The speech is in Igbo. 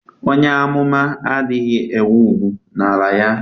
Onye amụma adịghị enwe ùgwù n'ala ya.